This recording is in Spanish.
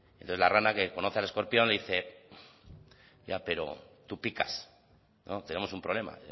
entonces la rana que conoce al escorpión le dice ya pero tú picas tenemos un problema